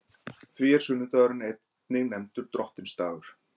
Því er sunnudagurinn einnig nefndur Drottinsdagur.